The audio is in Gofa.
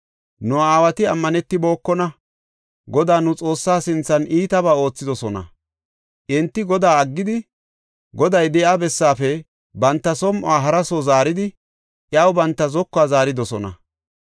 Nu aawati ammanetibokona; Godaa, nu Xoossaa sinthan iitabaa oothidosona. Enti Godaa aggidi, Goday de7iya bessaafe banta som7o hara soo zaaridi, iyaw banta zokuwa zaaridosona.